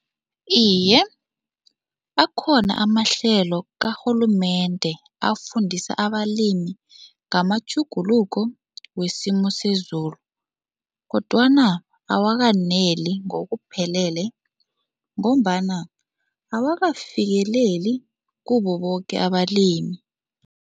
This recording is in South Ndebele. Iye, akhona amahlelo karhulumende afundisa abalimi ngamatjhuguluko wesimo sezulu kodwana awakaneli ngokuphelele ngombana awakafikeleli kubo boke abalimi.